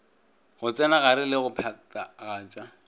go tsenagare le go phathagatša